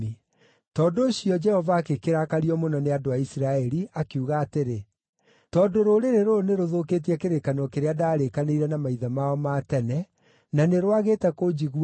Tondũ ũcio, Jehova agĩkĩrakario mũno nĩ andũ a Isiraeli, akiuga atĩrĩ, “Tondũ rũrĩrĩ rũrũ nĩrũthũkĩtie kĩrĩkanĩro kĩrĩa ndaarĩkanĩire na maithe mao ma tene, na nĩ rwagĩte kũnjigua-rĩ,